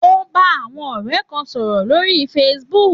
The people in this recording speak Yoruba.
Ó ń bá ọ̀rẹ́ kan sọ̀rọ̀ lórí Facebook